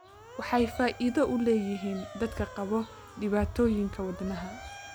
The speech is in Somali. Waxay faa'iido u leeyihiin dadka qaba dhibaatooyinka wadnaha.